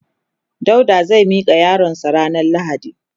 Dauda zai mika yaron sa ranan lahadi.